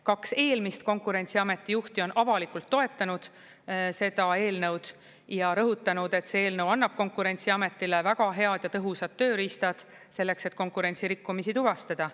Kaks eelmist Konkurentsiameti juhti on avalikult toetanud seda eelnõu ja rõhutanud, et see eelnõu annab Konkurentsiametile väga head ja tõhusad tööriistad selleks, et konkurentsirikkumisi tuvastada.